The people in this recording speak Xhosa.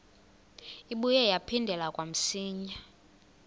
ibuye yaphindela kamsinya